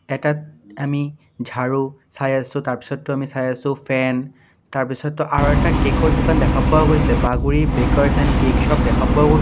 এটাত আমি ঝাৰু চাই আছোঁ তাৰ পিছতো আমি চাই আছোঁ ফেন তাৰ পিছতো আৰু এটা কেক ৰ দোকান দেখা পোৱা গৈছে Bagri bakers and cake shop দেখা পোৱা গৈছে।